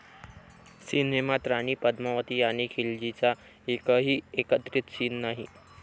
सिनेमात राणी पद्मावती आणि खिलजीचा एकही एकत्रित सीन नाही!